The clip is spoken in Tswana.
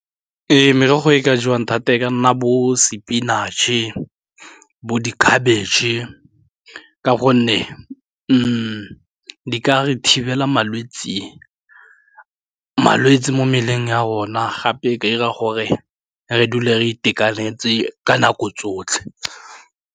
Ee, merogo e ka jewang thata e ka nna bo spinach-e, bo dikhabetšhe e ka gonne di ka re thibela malwetse mo mebeleng ya rona gape e ka 'ira gore re dule re itekanetse ka nako tsotlhe.